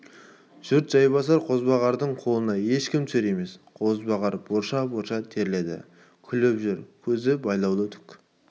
жұрт жайбасар қозбағардың қолына ешкім түсер емес қозбағар борша-борша терледі күліп жүр көзі байлаулы түк